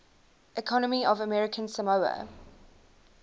economy of american samoa